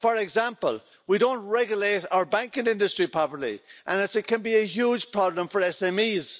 For example, we don't regulate our banking industry properly, and that can be a huge problem for SMEs.